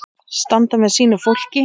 Standa með sínu fólki.